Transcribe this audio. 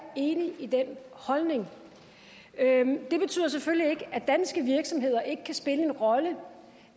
enig i den holdning det betyder selvfølgelig ikke at danske virksomheder ikke kan spille en rolle